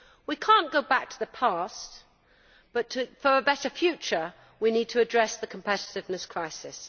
We cannot go back to the past, but for a better future we need to address the competitiveness crisis.